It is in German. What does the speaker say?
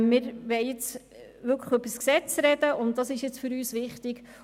Wir wollen jedoch nun über das Gesetz sprechen, das ist für uns wichtiger.